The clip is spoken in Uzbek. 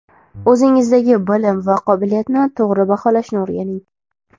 O‘zingizdagi bilim va qobiliyatni to‘g‘ri baholashni o‘rganing.